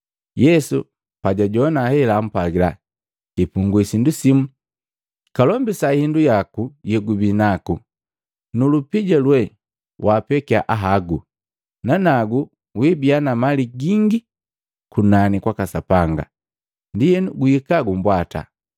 Yesu pajajowana hela ampwagila, “Kipungwi sindu simu, kalombisa hindu yoti yegubinaku, nu lupija lwe waapekya ahagu, nanagu wibia na mali gingi kunani kwaka Sapanga, ndienu guhika gumbwata.”